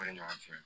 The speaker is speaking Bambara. ɲɔgɔn fɛ